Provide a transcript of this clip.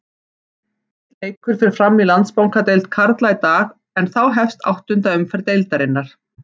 Einn leikur fer fram í Landsbankadeild karla í dag en þá hefst áttunda umferð deildarinnar.